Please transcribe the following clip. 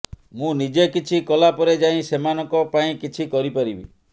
ମୁଁ ନିଜେ କିଛି କଲା ପରେ ଯାଇ ସେମାନଙ୍କ ପାଇଁ କିଛି କରି ପାରିବି